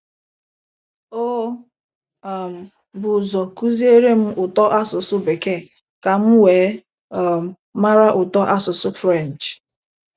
O um bu ụzọ kụziere m ụtọ asụsụ Bekee ka m wee um mara ụtọ asụsụ French..